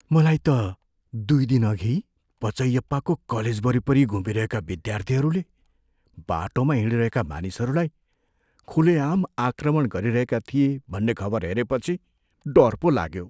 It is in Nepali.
मलाई त दुई दिनअघि पचैयप्पाको कलेज वरिपरि घुमिरहेका विद्यार्थीहरूले बाटोमा हिँडिरहेका मानिसहरूलाई खुलेआम आक्रमण गरिरहेका थिए भन्ने खबर हेरेपछि डर पो लाग्यो।